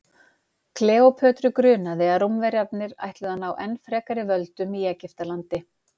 kleópötru grunaði að rómverjarnir ætluðu að ná enn frekari völdum í egyptalandi